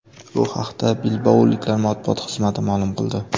Bu haqda bilbaoliklar matbuot xizmati ma’lum qildi .